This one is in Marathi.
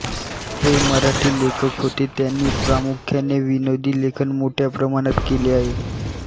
हे मराठी लेखक होते त्यांनी प्रामुख्याने विनोदी लेखन मोठ्या प्रमाणात केले आहे